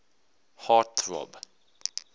heart throb